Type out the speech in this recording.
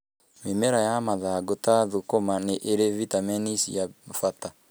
Mĩmera ya mathangũ ta thũkuma nĩ ĩrĩ vitamini cia bata.